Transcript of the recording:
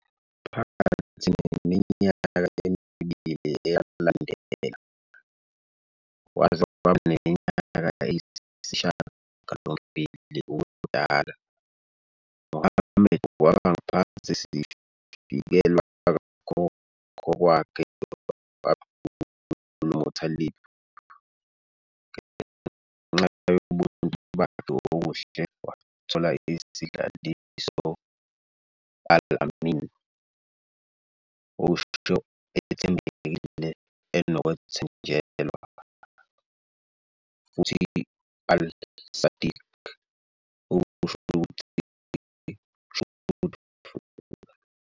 Phakathi neminyaka emibili eyalandela, waze waba neminyaka eyisishiyagalombili ubudala, Muhammad kwaba ngaphansi sivikelwe kakhokho wakhe abdul Muttalib. Ngenxa yobuntu bakhe okuhle wathola isidlaliso "Al-Amin", okusho "ethembekile, enokwethenjelwa" futhi "al-Sadiq," okusho ukuthi "truthful".